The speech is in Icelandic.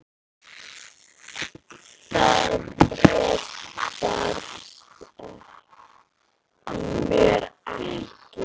Það bréf barst mér ekki!